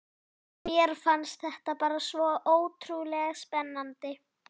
Mér fannst þetta bara svo ótrúlega spennandi.